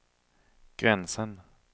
gränsen